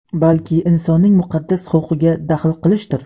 balki insonning muqaddas huquqiga daxl qilishdir.